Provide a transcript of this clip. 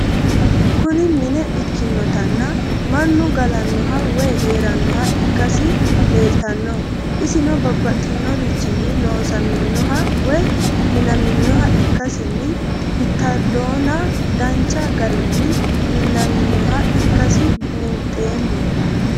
Kuni minne ikinotana mannu galanoha woyi heeranoha ikasi lelitano isino babaxinorichini loosaminoha woyi minaninoha ikasini bitadona danchu garini minaninoha ikasi buunxemo?